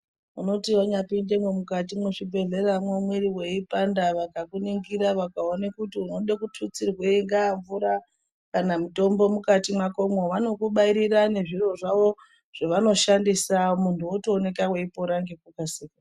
Unoti wanyapindemwo mukatimwo mwezvibhehlera mwiri weipanda vakakuningira vakaona kuti unode kututsirweinga mvura kana mutombo mukati mwakomwo, vanokubairira nezviro zvavo zvavanoshandisa muntu wotopora ngekukasika.